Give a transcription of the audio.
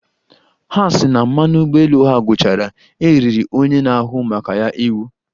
Ha sị na mmanụ ụgbọelu ha gwụchara, e riri onye na-ahụ maka ya iwu